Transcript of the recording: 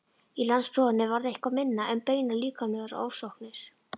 Í landsprófinu varð eitthvað minna um beinar líkamlegar ofsóknir.